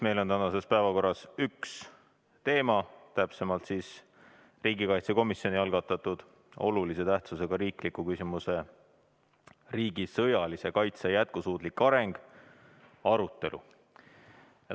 Meil on päevakorras üks punkt: riigikaitsekomisjoni algatatud olulise tähtsusega riikliku küsimuse "Riigi sõjalise kaitse jätkusuutlik areng" arutelu.